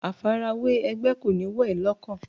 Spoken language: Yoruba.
Àfarawé ẹgbẹ́ kò ní wọ̀ ẹ́ lọ́kàn.